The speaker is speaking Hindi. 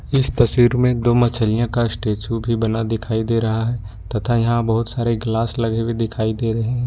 इस तस्वीर में दो मछलियां का स्टेच्यू भी बना हुआ दिखाई दे रहा है तथा यहां बहुत सारे ग्लास लगे हुए दिखाई दे रहे हैं।